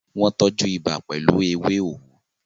wọ́n tọ́jú ibà pẹ̀lú “ewé òwú”